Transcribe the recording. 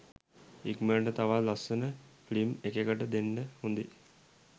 ඉක්මනටම තවත් ලස්සන ෆිල්ම් එකකට දෙන්ඩ හොදේ